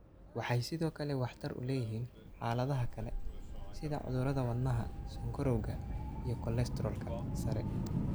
Waxay sidoo kale waxtar u leeyihiin xaaladaha kale, sida cudurrada wadnaha, sonkorowga, iyo kolestaroolka sare.